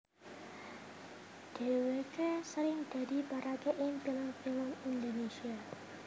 Dhèwèké sering dadi paraga ing film film Indonésia